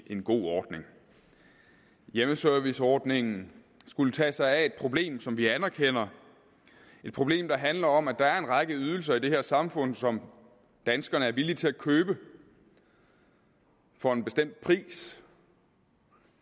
en god ordning hjemmeserviceordningen skulle tage sig af et problem som vi anerkender et problem der handler om at der er en række ydelser i det her samfund som danskerne er villige til at købe for en bestemt pris